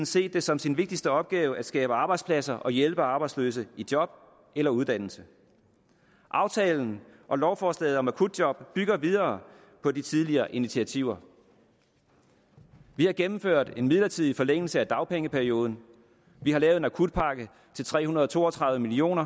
set det som sin vigtigste opgave at skabe arbejdspladser og hjælpe arbejdsløse i job eller uddannelse aftalen og lovforslaget om akutjob bygger videre på de tidligere initiativer vi har gennemført en midlertidig forlængelse af dagpengeperioden vi har lavet en akutpakke til tre hundrede og to og tredive million